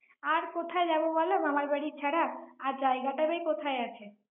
আর কোথায় যাব বলো মামারবাড়ি ছাড়া? আর জায়গাটা কোথায় আছে?